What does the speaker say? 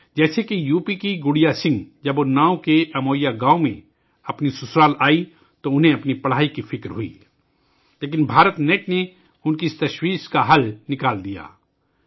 مثال کے طور پر، جب یوپی کی گڑیا سنگھ اناؤ کے امویا گاؤں میں اپنے سسرال آئیں ، تو انہیں اپنی پڑھائی کے فکر ہوئی لیکن بھارت نیٹ نے ان کی اس فکر کو حل کر دیا